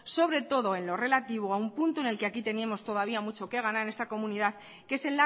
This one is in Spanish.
sobre todo en lo relativo a un punto en el que aquí tenemos mucho que ganar en esta comunidad que es